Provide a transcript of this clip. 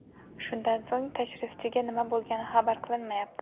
Shundan so‘ng tashrifchiga nima bo‘lgani xabar qilinmayapti.